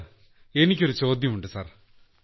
sir എനിക്കൊരു ചോദ്യമുണ്ട് sir